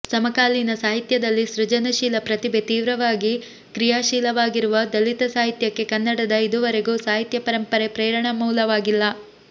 ಸಮಕಾಲೀನ ಸಾಹಿತ್ಯದಲ್ಲಿ ಸೃಜನಶೀಲ ಪ್ರತಿಭೆ ತೀವ್ರತರವಾಗಿ ಕ್ರಿಯಾಶೀಲವಾಗಿರುವ ದಲಿತ ಸಾಹಿತ್ಯಕ್ಕೆ ಕನ್ನಡದ ಇದುವರೆಗೆ ಸಾಹಿತ್ಯ ಪರಂಪರೆ ಪ್ರೇರಣಾಮೂಲವಾಗಿಲ್ಲ